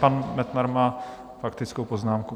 Pan Metnar má faktickou poznámku.